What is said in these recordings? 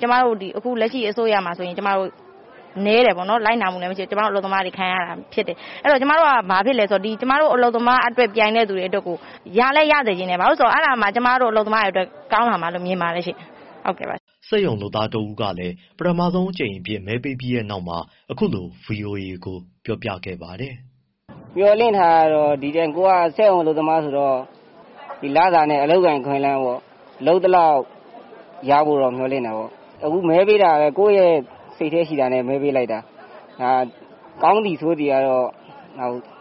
ကျမတို့ လက်ရှိအစိုးရမှာဆိုရင် နည်းတယ်ပေါ့နော်၊ လိုက်နာမှုလည်း မရှိတော့ ကျမတို့ အလုပ်သမားတွေ ခံရတာဖြစ်တယ်။ အဲဒီတော့ ကျမတို့က ကျမတို့ အလုပ်သမားတွေအတွက် ပြိုင်တဲ့သူကို ရလည်းရစေချင်တယ်၊ အဲဒါမှ ကျမတို့ အလုပ်သမားတွေအတွက် ကောင်းလာမှာလို့ မြင်ပါတယ်ရှင့်။” စက်ရုံလုပ်သားတဦးဖြစ်တဲ့ ကိုဇေယျာလင်းကလည်း ပထမဆုံးအကြိမ်အဖြစ် မဲပေးပြီးတဲ့နောက်မှာ ဗွီအိုအေကို အခုလို ပြောခဲ့ပါတယ်။ “မျှော်လင့်ထားတာကတော့ ကိုယ်က စက်ရုံအလုပ်သမားဆိုတော့ လစာနဲ့ ဒီ အလုပ်အကိုင် အခွင့်အလမ်းပေါ့၊ လုပ်သလောက် ရဖို့တော့ မျှော်လင့်တာပေါ့။ အခု မဲပေးတာကလည်း ကိုယ့်ရဲ့ စိတ်ထဲရှိတာနဲ့ မဲပေးလိုက်တာ။ ကောင်းသည် ဆိုးသည်ကတော့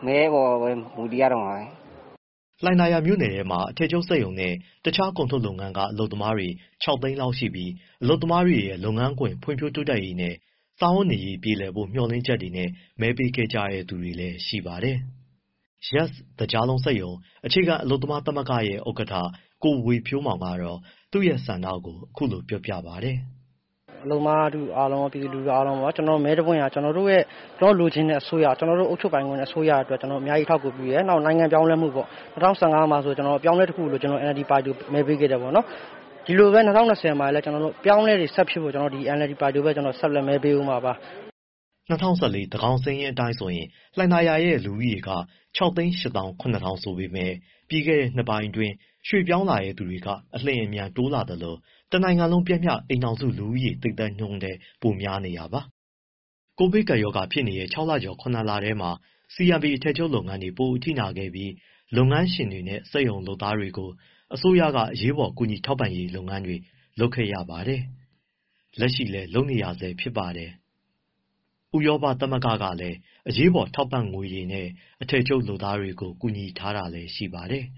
မဲအပေါ်မှာ မူတည်ရတော့မှာပဲ။” လှိုင်သာယာ တမြို့နယ်တည်းမှာ အထည်ချုပ်နဲ့ တခြား ကုန်ထုတ်လုပ်ငန်းက အလုပ်သမား ၆၀၀,၀၀၀ လောက်ရှိပြီး အလုပ်သမားတွေရဲ့ လုပ်ငန်းခွင် ဖွံ့ဖြိုးတိုးတက်ရေးနဲ့ စားဝတ်နေရေး ပြေလည်စေဖို့ မျှော်လင့်ချက်နဲ့ မဲပေးခဲ့ကြတဲ့သူတွေလည်း ရှိပါတယ်။ YES သကြားလုံးစက်ရုံ အခြေခံအလုပ်သမားသမဂ္ဂရဲ့ ဥက္ကဋ္ဌ ကိုဝေဖြိုးမောင်က သူရဲ့ဆန္ဒကို ခုလို ပြောပါတယ်။ “အလုပ်သမားထုအားလုံး ပြည်သူလူထုအားလုံး မဲတပွင့်က ကျနော်တို့လိုချင်တဲ့ အစိုးရ၊ အုပ်ချုပ်မယ့်အစိုးရအတွက် အများကြီး အထောက်အကူပြုတယ်။ နောက် နိုင်ငံပြောင်းလဲမှုပေါ့၊ ၂၀၁၅ မှာဆိုရင် အပြောင်းအလဲတခုကို လိုချင်လို့ NLD ပါတီကို မဲပေးခဲ့တယ်၊ ဒီလိုပဲ ၂၀၂၀ မှာလည်း အပြောင်းအလဲတွေ ဆက်ဖြစ်ဖို့အတွက် ဒီ NLD ပါတီကိုပဲ ဆက်လက် မဲပေးဦးမှာပါ။” ၂၀၁၄ သန်းခေါင်စာရင်းအတိုင်းဆိုရင် လှိုင်သာယာရဲ့ လူဦးရေက ၆၈၇,၀၀၀ ကျော် ဆိုပေမယ့် ပြီးခဲ့တဲ နှစ်ပိုင်းအတွင်း ရွှေ့ပြောင်းနေထိုင်သူတွေ အလျှင်အမြန် တိုးလာသလို တနိုင်ငံလုံး ပျမ်းမျှ အိမ်ထောင်စုလူဦးရေ သိပ်သည်းနှုန်းထက် ပိုများနေတာပါ။ ကိုဗစ်ကပ်ရောဂါဖြစ်နေတဲ့ ၆ လကျော် ၇ လထဲမှာ CMP အထည်ချုပ်လုပ်ငန်းတွေ ပိုအထိနာခဲ့ပြီး လုပ်ငန်းရှင်တွေနဲ့ စက်ရုံလုပ်သားတွေကို အစိုးရက အရေးပေါ် ကူညီထောက်ပံ့ရေးတွေ လုပ်ခဲ့ရပါတယ်။ လက်ရှိလည်း လုပ်နေရတုန်းပါ။ ဥရောပသမဂ္ဂကလည်း အရေးပေါ် ထောက်ပံ့ငွေတွေနဲ့ အထည်ချုပ်လုပ်သားတွေကို ကူညီထားတာလည်း ရှိပါတယ်။